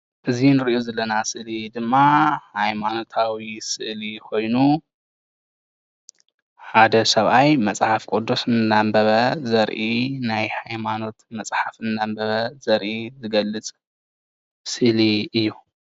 እዚ እንሪኦ ዘለና ስእሊ ድማ ሃይማኖታዊ ስእሊ ኮይኑ ሓደ ሰብኣይ መፅሓፍ ቁዱስ እንዳንበበ ዘርኢ ናይ ሃይማኖት መፅሓፍ እንዳንበበ ዘርኢ ዝገልፅ ስእሊ እዩ፡፡